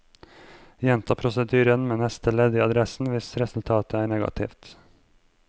Gjenta prosedyren med neste ledd i adressen hvis resultatet er negativt.